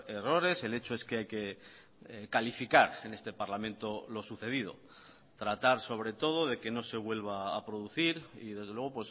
errores el hecho es que hay que calificar en este parlamento lo sucedido tratar sobre todo de que no se vuelva a producir y desde luego